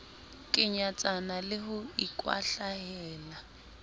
ke nyatsana le ho ikwahlahela